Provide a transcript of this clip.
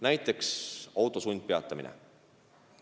Näiteks auto sundpeatamine.